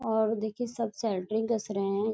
और देखिये सब सेंट्रिंग कस रहे हैं।